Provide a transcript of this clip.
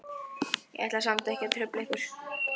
Ég ætlaði samt ekki að trufla ykkur.